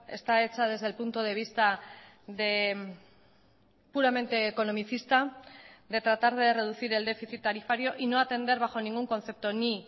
está hecha desde el punto de vista puramente economicista de tratar de reducir el déficit tarifario y no atender bajo ningún concepto ni